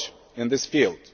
in this field.